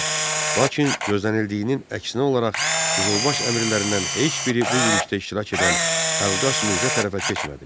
Lakin gözlənildiyinin əksinə olaraq Qızılbaş əmirlərindən heç biri bu yürüşdə iştirak edən Əlqas Mirzə tərəfə keçmədi.